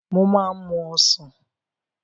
Mo máa ń mú Ọ̀sán.